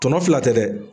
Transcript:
Tɔnɔ fila tɛ dɛ